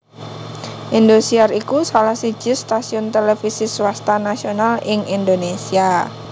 Indosiar iku salah siji stasiun televisi swasta nasional ing Indonésia